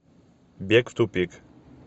бег в тупик